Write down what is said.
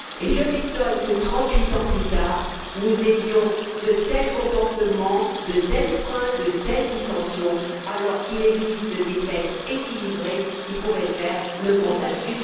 Je m'étonne que, trente huit ans plus tard, nous soyons capables de tels comportements, de tels freins, de telles dissensions alors qu'il existe des textes équilibrés qui pourraient réunir un consensus.